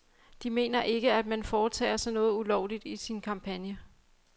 De mener ikke, at man foretager sig noget ulovligt i sin kampagne.